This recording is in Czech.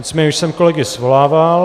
Nicméně už jsem kolegy svolával.